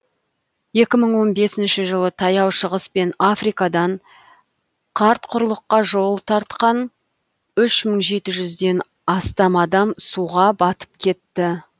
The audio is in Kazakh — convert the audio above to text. екі мың он бесінші жылы таяу шығыс пен африкадан қарт құрлыққа жол тартқан үш мың жеті жүзден астам адам суға батып кетті